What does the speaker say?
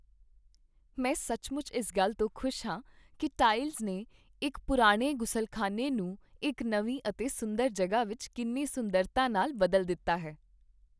ਮੈਂ ਸੱਚਮੁੱਚ ਇਸ ਗੱਲ ਤੋਂ ਖੁਸ਼ ਹਾਂ ਕੀ ਟਾਇਲਸ ਨੇ ਇੱਕ ਪੁਰਾਣੇ ਗ਼ੁਸਲਖ਼ਾਨੇ ਨੂੰ ਇੱਕ ਨਵੀ ਅਤੇ ਸੁੰਦਰ ਜਗ੍ਹਾ ਵਿੱਚ ਕਿੰਨੀ ਸੁੰਦਰਤਾ ਨਾਲ ਬਦਲ ਦਿੱਤਾ ਹੈ।